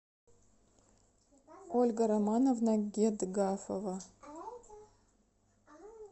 ольга романовна гедгафова